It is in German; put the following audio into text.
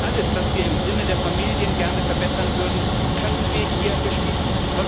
Nicht alles, was wir im Sinne der Familien gerne verbessern würden, können wir hier beschließen.